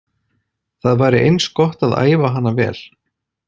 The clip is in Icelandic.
Það væri eins gott að æfa hana vel.